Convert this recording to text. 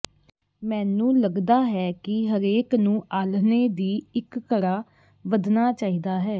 ਮੈਨੂੰ ਲਗਦਾ ਹੈ ਕਿ ਹਰੇਕ ਨੂੰ ਆਲ੍ਹਣੇ ਦੀ ਇੱਕ ਘੜਾ ਵਧਣਾ ਚਾਹੀਦਾ ਹੈ